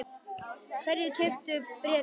Hverjir keyptu bréfin?